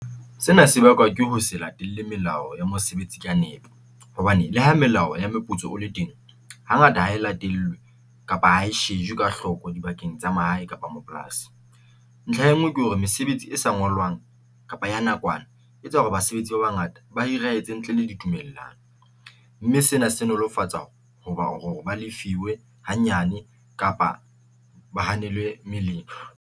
Sena se bakwa ke ho se latelle melao ya mosebetsi ka nepo, hobane le ha melao ya meputso o le teng ha ngata ha e latelwe kapa ha e shejwe ka hloko dibakeng tsa mahae kapa mapolasi. Ntlha e ngwe ke hore mesebetsi e sa ngolwang kapa ya nakwana e tsa hore basebetsi ba bangata ba etse ntle le ditumellano mme sena se nolofatsa hoba hore ba le fiwe ha nyane kapa ba hanelwe meleng.